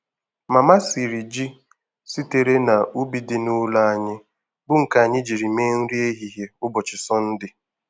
Mama siri ji sitere n'ubu dị n'ụlọ anyị bu nke anyị jiri mee nri ehihie ụbọchị Sọnde.